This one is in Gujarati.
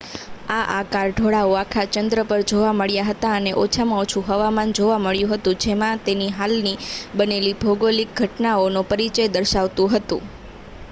આ આકરા ઢોળાવો આખા ચંદ્ર પર જોવા મળ્યા હતા અને ઓછામાં ઓછુ હવામાન જોવા મળ્યું હતું જેમાં તેની હાલની બનેલી ભોગોલીક ઘટનાઓનો પરિચય દર્શાવતું હતું